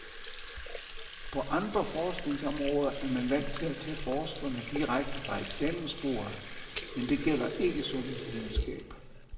På andre forskningsområder er man vant til at tage forskerne direkte fra eksamensbordet, men det gælder ikke sundhedsvidenskab.